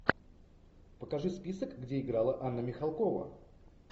покажи список где играла анна михалкова